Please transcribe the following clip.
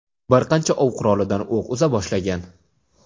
bir qancha ov qurolidan o‘q uza boshlagan.